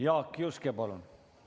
Jaak Juske, palun!